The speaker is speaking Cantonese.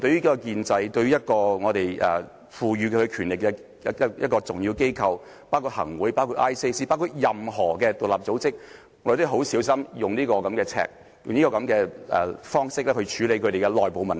對於建制、對於我們賦予權力的重要機構，包括行政會議、廉署或任何獨立組織，我們都要非常小心地使用這把尺，以這樣的方式來處理其內部問題。